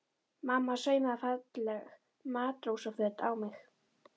Mamma saumaði falleg matrósaföt á mig.